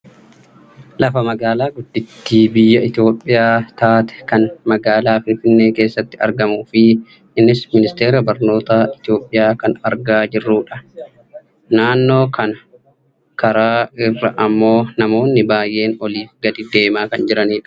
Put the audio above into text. lafa magaalaa guddittii biyya Itoopiyaa taate kan magaalaa Finfinnee keessatti argamuufi innis ministera barnoota Itoopiyaa kan argaa jirrudhan. naannoo kana karaa irra ammoo namoonni baayyee oliif gad deemaa kan jiranidha.